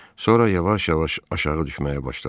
Sonra yavaş-yavaş aşağı düşməyə başladı.